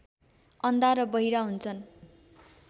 अन्धा र बहिरा हुन्छन्